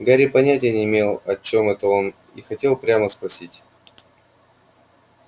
гарри понятия не имел о чем это он и хотел прямо спросить